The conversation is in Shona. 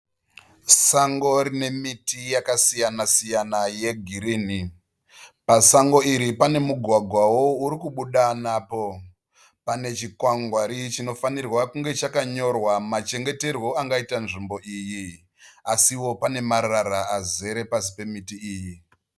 Sango rime miti yakasiyana-siyana yegirinhi. Pasango iri pane mugwagwawo urikubuda napo. Pane chikwangwari chinofanirwa kunge chakanyorwa machengeterwo angaita nzvimbo iyi. Asiwo pane marara azere pasi pemiti iyi.